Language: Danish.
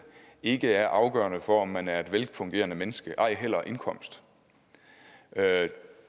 ikke er afgørende for om man er et velfungerende menneske ej heller indkomst